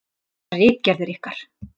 Þessar ritgerðir ykkar!